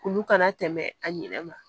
Olu kana tɛmɛ a ɲinɛ ma